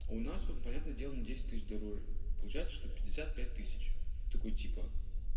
у нас он понятное дело не десять тысяч дороже и получается что пятьдесят пять тысяч и такой типа